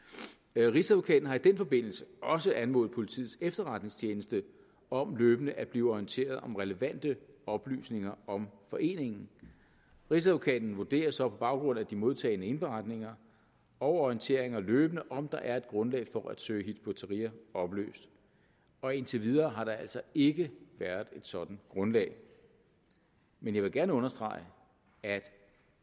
rigsadvokaten har i den forbindelse også anmodet politiets efterretningstjeneste om løbende at blive orienteret om relevante oplysninger om foreningen rigsadvokaten vurderer så på baggrund af de modtagne indberetninger og orienteringer løbende om der er et grundlag for at søge hizb ut tahrir opløst og indtil videre har der altså ikke været et sådant grundlag men jeg vil gerne understrege at